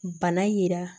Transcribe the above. Bana yira